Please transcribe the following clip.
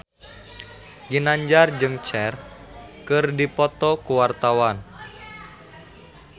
Ginanjar jeung Cher keur dipoto ku wartawan